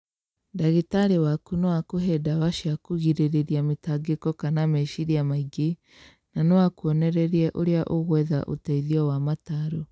Ndagĩtarĩ waku no akũhe ndawa cia kũgirĩrĩria mĩtangĩko kana meciria maingĩ na no akwonererie ũrĩ ũgwetha ũteithio wa mataro.